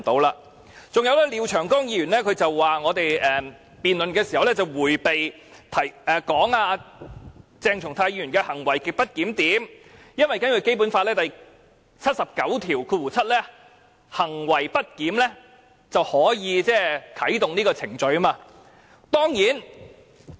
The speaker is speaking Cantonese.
廖長江議員指我們在辯論時，對於鄭松泰議員的行為極不檢點，迴避不談，因為根據《基本法》第七十九條第七項，若議員行為不檢，是可以啟動程序的。